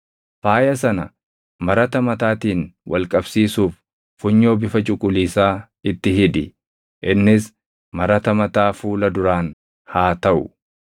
Faaya sana marata mataatiin wal qabsiisuuf funyoo bifa cuquliisaa itti hidhi; innis marata mataa fuula duraan haa taʼu.